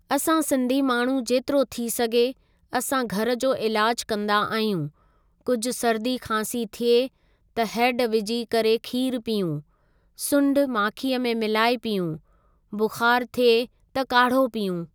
असां सिंधी माण्हू जेतिरो थी सघे असां घरु जो इलाज कंदा आहियूं कुझु सरदी खांसी थिए त हैड विझी करे खीर पियूं, सुंढि माखीअ में मिलाए पियूं, बुख़ारु थिए त काढ़ो पियूं।